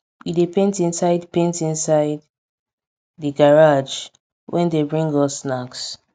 we dey paint inside paint inside di garage wen dey bring us snacks